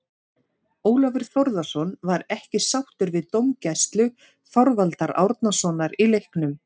Ólafur Þórðarson var ekki sáttur við dómgæslu Þorvaldar Árnasonar í leiknum.